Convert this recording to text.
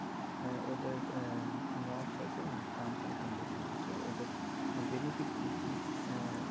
আ~ ওদের আ~ norms আছে মানে terms and condition আছে ওদের benefit কি কি আ~